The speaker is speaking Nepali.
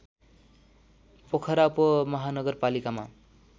पोखरा उपमहानगरपालिकामा